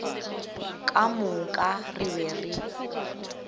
ka moka re be re